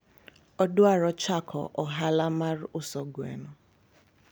anataka aanze biashara ya kuuza kuku